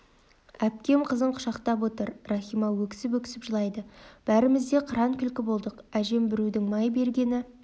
әпкем қызын құшақтап отыр рахима өксіп-өксіп жылайды бәріміз де қыран күлкі болдық әжем біреудің май бергені